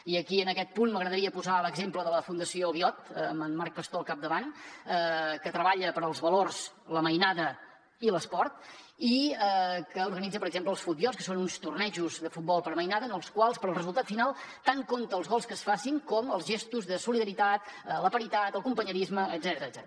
i aquí en aquest punt m’agradaria posar l’exemple de la fundació biot amb en marc pastor al capdavant que treballa pels valors la mainada i l’esport i que organitza per exemple els futbiots que són uns tornejos de futbol per a mainada en els quals per al resultat final tant compta els gols que es facin com els gestos de solidaritat la paritat la companyonia etcètera